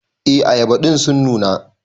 E ayaba din sun nuna.